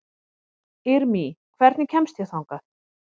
Irmý, hvernig kemst ég þangað?